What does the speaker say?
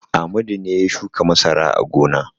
Amadu ne ya shuka masara a gona.